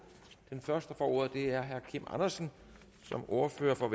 og den første der får ordet er herre kim andersen som ordfører for